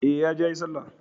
E, ya je yayi Sallah.